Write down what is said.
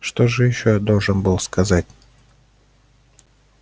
что же ещё я должен был сказать